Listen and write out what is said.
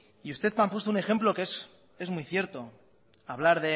y usted me ha puesto un ejemplo que es muy cierto hablar